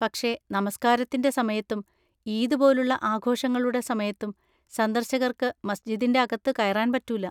പക്ഷേ, നമസ്കാരത്തിൻ്റെ സമയത്തും ഈദ് പോലുള്ള ആഘോഷങ്ങളുടെ സമയത്തും സന്ദർശകർക്ക് മസ്ജിദിൻ്റെ അകത്ത് കയറാൻ പറ്റൂല.